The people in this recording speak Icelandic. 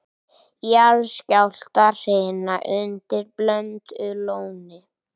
Jarðskjálftahrina undir Blöndulóni